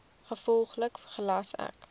gevolglik gelas ek